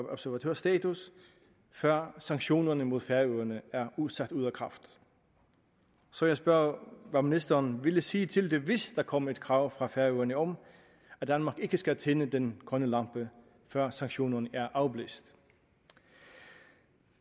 observatørstatus før sanktionerne mod færøerne er sat ud af kraft så jeg spørger hvad ministeren ville sige til det hvis der kom et krav fra færøerne om at danmark ikke skal tænde den grønne lampe før sanktionerne er afblæst